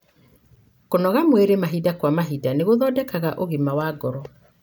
kũnogora mwĩri mahinda kwa mahinda nĩgũthondekaga ũgima wa ngoro.